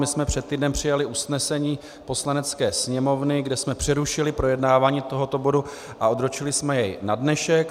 My jsme před týdnem přijali usnesení Poslanecké sněmovny, kde jsme přerušili projednávání tohoto bodu a odročili jsme jej na dnešek.